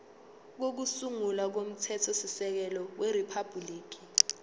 kokusungula komthethosisekelo weriphabhuliki